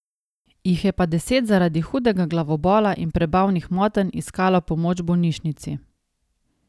Jih je pa deset zaradi hudega glavobola in prebavnih motenj iskalo pomoč v bolnišnici.